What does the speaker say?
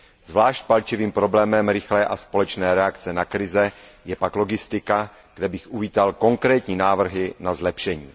Zvlášť palčivým problémem rychlé a společné reakce na krize je pak logistika, kde bych uvítal konkrétní návrhy na zlepšení.